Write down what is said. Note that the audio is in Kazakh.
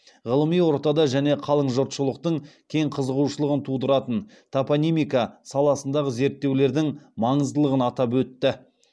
ғылыми ортада және қалың жұртшылықтың кең қызығушылығын тудыратын топонимика саласындағы зерттеулердің маңыздылығын атап өтті